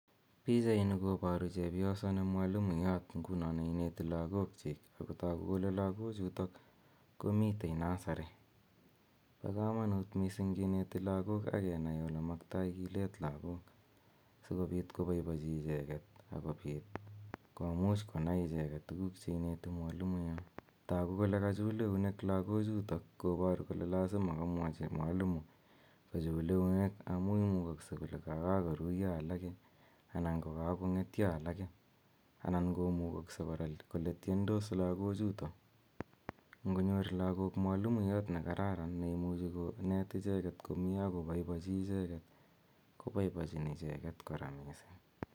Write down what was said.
Pichaini koboru chepyoso ne mwalimoiyot nguno neineti lagokchik, ak kotoku kole lagochuto komitei nursery, bo kamanut mising kineti lagok ak kenai ole maktoi kilet lagok, si kobit koboibochi icheket akobit komuch konai icheket tukuk che ineti mwalimoiyot. Toku kole kachul eunek lagochutok, kobor kole lazima kamwachi mwalimo kochul eunek amu imukokokse kole kakakoruiyo alake, anan ko kakongetyo alake, anan komukokse kora kole tyendos lagochuto. Ngonyor lagok mwalimoiyot ne kararan neimuchi konet icheket komie ak koboiboichi icheket, koboiboichin icheket kora mising.